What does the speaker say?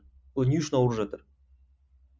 олар не үшін ауырып жатыр